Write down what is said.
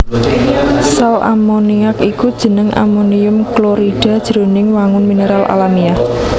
Sal ammoniac iku jeneng amonium klorida jroning wangun mineral alamiah